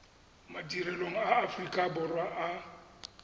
madirelong a aforika borwa a